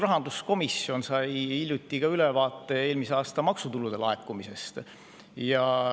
Rahanduskomisjon sai hiljuti ülevaate eelmise aasta maksutulude laekumisest.